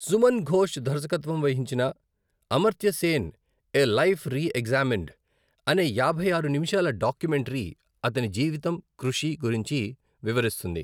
సుమన్ ఘోష్ దర్శకత్వం వహించిన 'Amartya Sen a life reexamined' అనే యాభై ఆరు నిమిషాల డాక్యుమెంటరీ అతని జీవితం, కృషి గురించి వివరిస్తుంది.